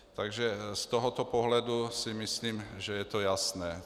Takže z tohoto pohledu si myslím, že je to jasné.